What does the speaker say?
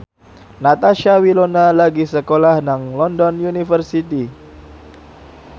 Natasha Wilona lagi sekolah nang London University